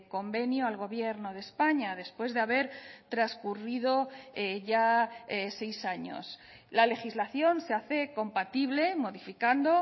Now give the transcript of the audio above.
convenio al gobierno de españa después de haber transcurrido ya seis años la legislación se hace compatible modificando